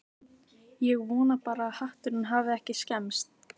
Hvernig er stemningin hjá Grundarfirði?